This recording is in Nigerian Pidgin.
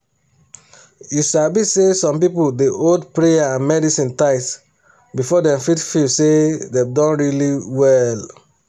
you sabi say some people dey hold prayer and medicine tight before dem fit feel say dem don really well.